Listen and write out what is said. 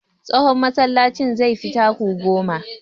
Tsawon masallacin zai fi taku goma.